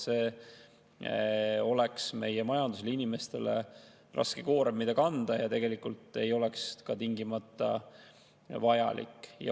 See oleks meie majandusele ja inimestele raske koorem, mida kanda, ja tegelikult ei oleks see ka tingimata vajalik.